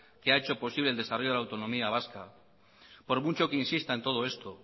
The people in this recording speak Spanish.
que ha hecho posible el desarrollo de la autonomía vasca por mucho que insista en todo esto